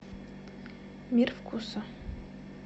мир вкуса